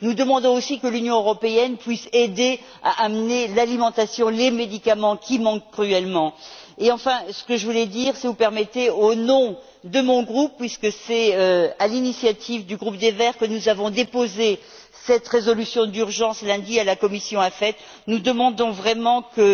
Nous demandons aussi que l'Union européenne puisse aider à acheminer la nourriture et les médicaments qui manquent cruellement. Enfin, si vous le permettez, je voudrais dire au nom de mon groupe puisque c'est à l'initiative du groupe des Verts que nous avons déposé cette résolution d'urgence lundi à la commission AFET que nous demandons